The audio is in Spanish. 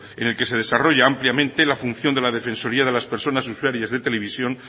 en el que se desarrolla ampliamente la función de la defensoría de las personas usuarias de televisión